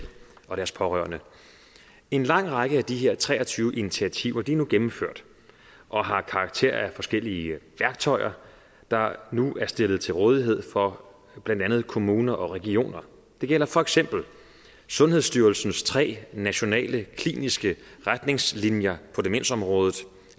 og deres pårørende en lang række af de her tre og tyve initiativer er nu gennemført og har karakter af forskellige værktøjer der nu er stillet til rådighed for blandt andet kommuner og regioner det gælder for eksempel sundhedsstyrelsens tre nationale kliniske retningslinjer på demensområdet